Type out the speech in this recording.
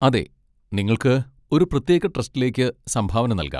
അതെ, നിങ്ങൾക്ക് ഒരു പ്രത്യേക ട്രസ്റ്റിലേക്ക് സംഭാവന നൽകാം.